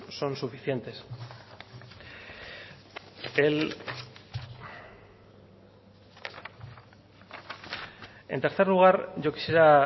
son suficientes en tercer lugar yo quisiera